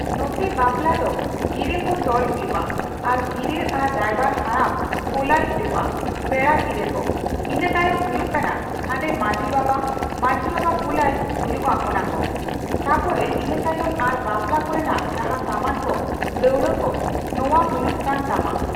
ᱱᱚᱛᱮ ᱵᱟᱯᱞᱟ ᱫᱚ ᱜᱤᱨᱟᱹ ᱠᱚ ᱛᱚᱞ ᱦᱩᱭᱩᱜᱼᱟ᱾ ᱟᱨ ᱜᱤᱨᱟᱹ ᱟᱨᱚ ᱨᱟᱭᱵᱟᱨ ᱦᱟᱲᱟᱢ ᱠᱳᱞᱟᱭ ᱦᱩᱭᱩᱜᱼᱟ ᱯᱮᱲᱟ ᱜᱤᱨᱟᱹ ᱠᱚ᱾ ᱤᱱᱟᱹᱛᱟᱭᱚᱢ ᱦᱩᱭᱩᱜ ᱠᱟᱱᱟ ᱦᱟᱸᱰᱮ ᱢᱟᱡᱷᱤ ᱵᱟᱵᱟ, ᱢᱟᱡᱷᱤ ᱵᱟᱵᱟ ᱠᱩᱞᱟᱭ ᱦᱩᱭᱩᱜᱼᱟ ᱚᱱᱟ ᱠᱚ᱿ ᱛᱟᱯᱚᱨᱮ ᱤᱱᱟᱹᱛᱟᱭᱚᱢ ᱟᱨ ᱵᱟᱯᱞᱟ ᱠᱚᱨᱮᱱᱟᱜ ᱡᱟᱦᱟᱸ ᱥᱟᱢᱟᱱ ᱠᱚ ᱫᱟᱹᱣᱲᱟᱹ ᱠᱚ ᱱᱚᱣᱟ ᱦᱩᱭᱩᱜ ᱠᱟᱱ ᱛᱟᱢᱟ